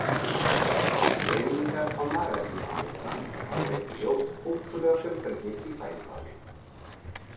Greiningar á magainnihaldi þeirra hafa leitt í ljós ótrúlega fjölbreytni í fæðuvali.